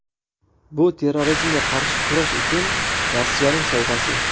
Bu terrorizmga qarshi kurash uchun Rossiyaning sovg‘asi.